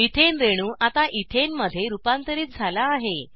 methane रेणू आता इथेनमध्ये रुपांतरित झाला आहे